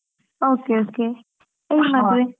Okay okay ಎಲ್ ಮದುವೆ?